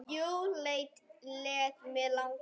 Jú, lét mig langa.